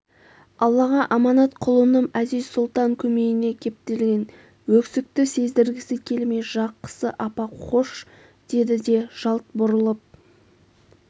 аллаға аманат құлыным әзиз-сұлтан көмейіне кептелген өксікті сездіргісі келмей жақсы апа қош деді де жалт бұрылып